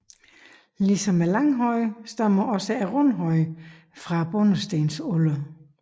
Ligesom langhøjen stammer også rundhøjen fra bondestenalderen